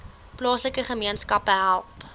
plaaslike gemeenskappe help